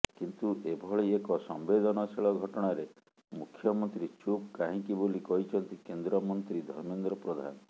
କିନ୍ତୁ ଏଭଳି ଏକ ସମ୍ବେଦନଶୀଳ ଘଟଣାରେ ମୁଖ୍ୟମନ୍ତ୍ରୀ ଚୁପ୍ କାହିଁକି ବୋଲି କହିଛନ୍ତି କେନ୍ଦ୍ରମନ୍ତ୍ରୀ ଧର୍ମେନ୍ଦ୍ର ପ୍ରଧାନ